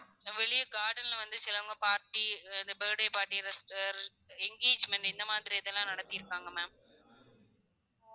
வெளிய garden ல வந்து சிலவுங்க party இது birthday party இது engagement இந்த மாதிரி இதெல்லாம் நடத்திருக்காங்க ma'am